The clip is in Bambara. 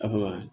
A fɔ